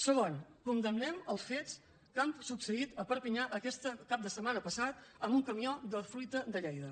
segon condemnem els fets que han succeït a perpinyà aquest cap de setmana passat amb un camió de fruita de lleida